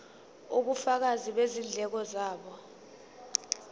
ubufakazi bezindleko zabo